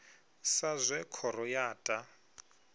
sa zwe khoro ya ta